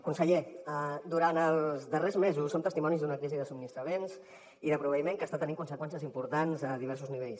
conseller durant els darrers mesos som testimonis d’una crisi de subministraments i de proveïment que està tenint conseqüències importants a diversos nivells